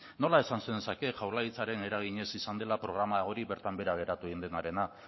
nola esan zenezake jaurlaritzaren eraginez izan dela programa hori bertan behera geratu egin denarena